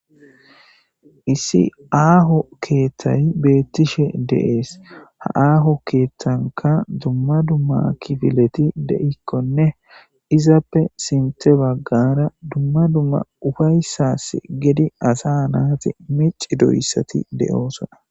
issi aaho keeththay beettishe deees ha aaho keeththanka dumma dumma kifileti de7ikkonne izappe sinte baggara dumma dumma ufayssas gedi asa naati mici doyssati de7oosona